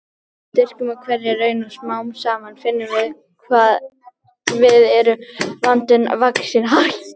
Við styrkjumst við hverja raun og smám saman finnum við að við erum vandanum vaxin.